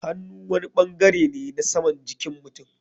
Hannu wani bangare ne na saman jikin mutum.